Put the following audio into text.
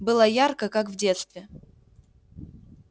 было ярко как в детстве